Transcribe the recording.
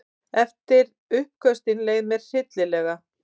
Eftir uppköstin leið mér hryllilega.